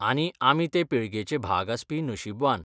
आनी आमी ते पिळगेचे भाग आस्पी नशीबवान.